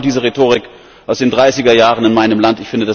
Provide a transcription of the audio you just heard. Ich kenne genau diese Rhetorik aus den Dreißiger Jahren in meinem Land.